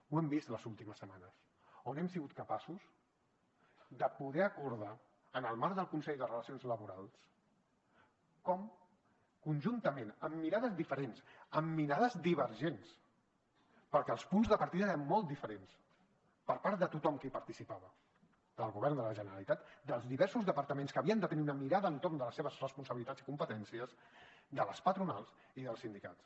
ho hem vist les últimes setmanes on hem sigut capaços de poder acordar en el marc del consell de relacions laborals com conjuntament amb mirades diferents amb mirades divergents perquè els punts de partida eren molt diferents per part de tothom qui hi participava del govern de la generalitat dels diversos departaments que havien de tenir una mirada entorn de les seves responsabilitats i competències de les patronals i dels sindicats